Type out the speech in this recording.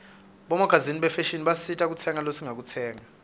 bomagazini bafashini basisita kukhetsa lesingakutsenga